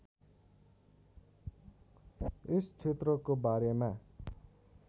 यस क्षेत्रको बारेमा